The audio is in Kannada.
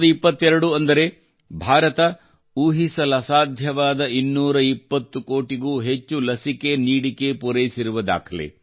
2022 ಅಂದರೆ ಭಾರತ ಊಹಿಸಲಸಾಧ್ಯವಾದ 220 ಕೋಟಿಗೂ ಹೆಚ್ಚು ಲಸಿಕೆಗಳನ್ನು ಪೂರೈಸಿರುವ ದಾಖಲೆ